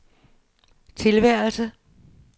tilværelse